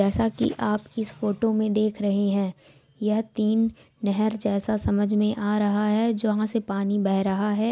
जैसा की आप इस फोटो मे देख रहे हैं यह तीन नहर जैसा समझ में आ रहा है जहाँ से पानी बह रहा है।